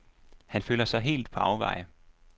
Han føler sig helt på afveje.